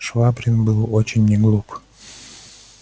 швабрин был очень не глуп